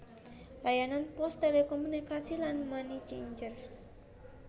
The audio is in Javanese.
Layanan pos telekomunikasi lan money changer